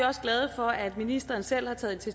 også glade for at ministeren selv har taget